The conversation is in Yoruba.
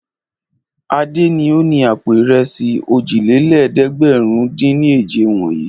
Adé ni ó ni àpò ìrẹsì òjìlélẹ́ẹ̀dẹ́gbẹ̀rúndínèje wọ̀nyí.